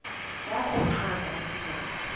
yakho uchaze isizathu